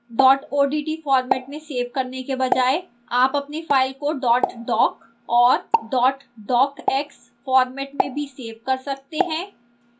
dot odt format में save करने के बजाय आप अपनी file को dot doc और dot docx format में भी सेव कर सकते हैं